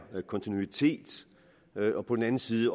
kontinuitet og på den anden side